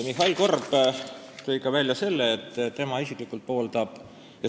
Mihhail Korb tõi välja ka selle, et tema isiklikult pooldab valimisringkondade arvu suurendamist.